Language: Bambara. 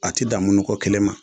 A tɛ dan munuko kelen ma